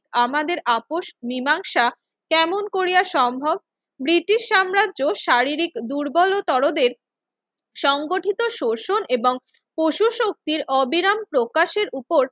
আমাদের আপোস মীমাংসা কেমন করিয়া সম্ভব? ব্রিটিশ সাম্রাজ্য শারীরিক দুর্বলতরদের সংগঠিত শোষণ এবং পশু শক্তির অবিরাম প্রকাশের উপর